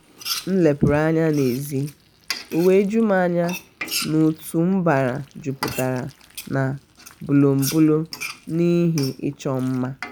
m lepuru anya na ezi ọ wee jum anya na otu mbara jupụtara na bolombolo na ihe ịchọ mma um